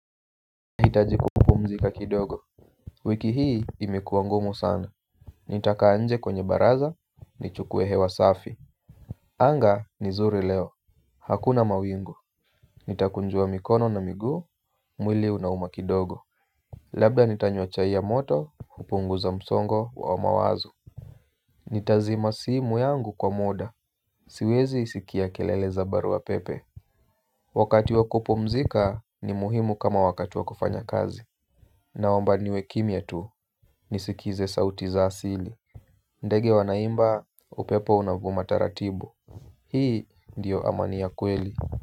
Hitaji kupumzika kidogo. Wiki hii imekuwa ngumu sana. Nitakaa nje kwenye baraza nichukue hewa safi. Anga ni nzuri leo. Hakuna mawingu. Nitakunjua mikono na miguu mwili unauma kidogo. Labda nitanywa chai ya moto kupunguza msongo wa mawazo. Nitazima simu yangu kwa muda. Siwezi sikia kelele za barua pepe. Wakati wa kupumzika ni muhimu kama wakati wa kufanya kazi. Naomba niwe kimya tu. Nisikize sauti za asili ndege wanaimba upepo unavuma taratibu. Hii ndiyo amani ya kweli.